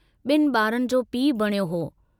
बिन बारनि जो पीउ बणियो हो।